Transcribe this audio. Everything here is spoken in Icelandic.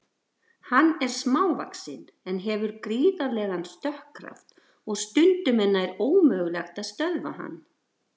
Hann er smávaxinn en hefur gríðarlegan stökkkraft og stundum er nær ómögulegt að stöðva hann.